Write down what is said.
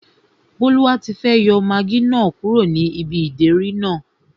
Bólúwatifẹ́ yọ magí náà kúrò ní ibi ìdérí náà